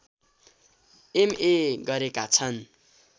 MA गरेका छन्